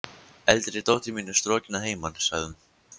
Eldri dóttir mín er strokin að heiman, sagði hún.